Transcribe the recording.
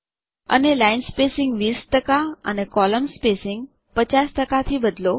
અને line spacing 20 ટકા અને કોલમ્ન સ્પેસિંગ 50 ટકા થી બદલો